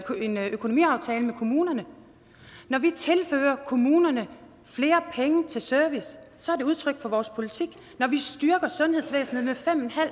en økonomiaftale med kommunerne når vi tilfører kommunerne flere penge til service så er det udtryk for vores politik når vi styrker sundhedsvæsenet med fem